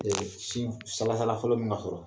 Sin sala sala fɔlɔ mina sɔrɔ